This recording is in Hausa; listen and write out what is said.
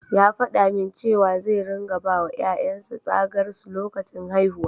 Ya faɗa min cewa zai ringa bawa ƴaƴan sa tsagar su lokacin haihuwa.